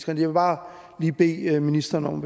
jeg vil bare lige bede ministeren